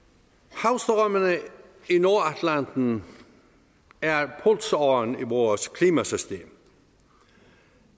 havstrømmene i nordatlanten er pulsåren i vores klimasystem